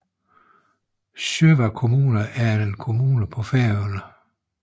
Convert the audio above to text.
Sjóvar kommuna er en kommune på Færøerne